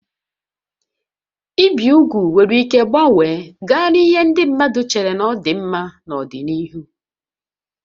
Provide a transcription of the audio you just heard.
Ibi úgwù nwere ike gbanwee gaa n'ihe ndị mmadụ chere na ọ dị mma n'ọdịnihu